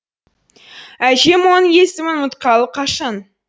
әжем оның есімін ұмытқалы қашан